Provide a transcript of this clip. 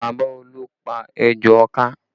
Bàbá Olú pá ejò ọká